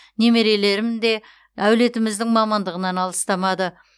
немерелерім де әулетіміздің мамандығынан алыстамады